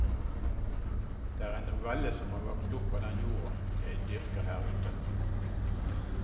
Det er en novelle som har vokst opp av den jorda jeg dyrker her ute.